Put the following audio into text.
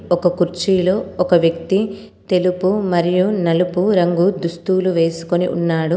ఒక కుర్చీలో ఒక వ్యక్తి తెలుపు మరియు నలుపు రంగు దుస్తువులు వేసుకొని ఉన్నాడు.